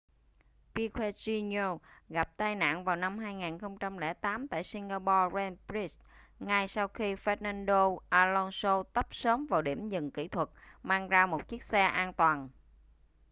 piquet jr gặp tai nạn vào năm 2008 tại singapore grand prix ngay sau khi fernando alonso tấp sớm vào điểm dừng kỹ thuật mang ra một chiếc xe an toàn